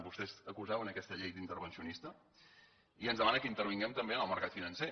vostès acusaven aquesta llei d’intervencionista i ens demanen que intervinguem també en el mercat financer